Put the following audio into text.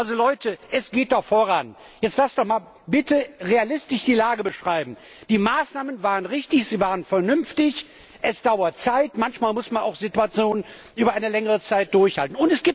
Also Leute, es geht doch voran. Jetzt lasst uns doch mal bitte die Lage realistisch beschreiben. Die Maßnahmen waren richtig, sie waren vernünftig. Es braucht Zeit, manchmal muss man auch Situationen über eine längere Zeit durchhalten.